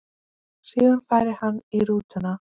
Síðan færi hann í rútuna.